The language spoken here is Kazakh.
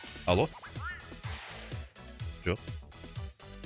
алло жоқ